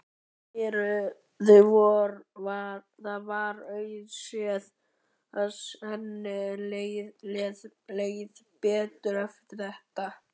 Það var auðséð að henni leið betur eftir þetta.